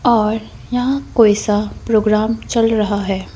और यहाँ कोई सा प्रोग्राम चल रहा है।